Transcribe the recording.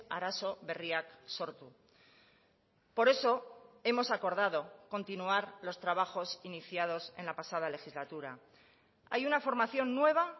arazo berriak sortu por eso hemos acordado continuar los trabajos iniciados en la pasada legislatura hay una formación nueva